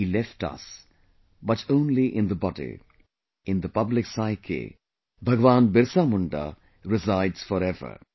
He left us, but only in the body; in the public psyche, Lord Birsa Munda resides forever